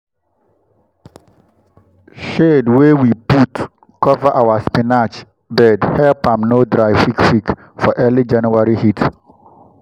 shade wey we put cover our spinach bed help am no dry quick-quick for early january heat.